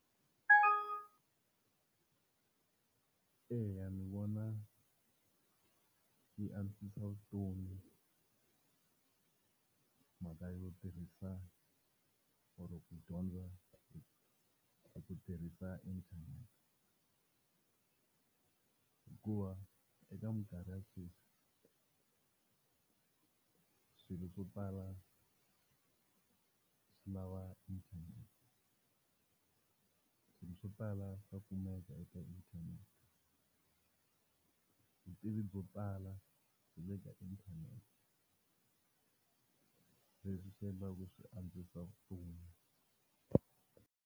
Eya, ni vona yi antswisa vutomi, hi mhaka yo tirhisa or ku dyondza ku tirhisa inthanete hikuva eka mikarhi ya sweswi swilo swo tala swi lava inthanete, swo tala swa kumeka eka inthanete vutivi byo pfala le ka inthanete leswi swi endliwaka swi antswisa fumo.